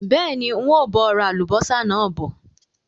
Bẹ́ẹ̀ni, ń ó bọ̀ ra Àlùbọ́sà náà bọ̀